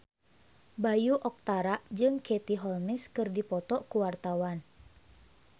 Bayu Octara jeung Katie Holmes keur dipoto ku wartawan